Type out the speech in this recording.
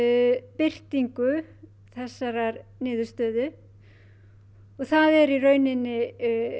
birtingu þessarar niðurstöðu og það er í rauninni